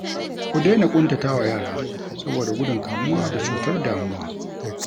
Ku daina ƙuntatawa yara saboda gudun kamuwa da cutar damuwa